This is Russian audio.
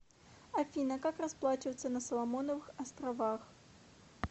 афина как расплачиваться на соломоновых островах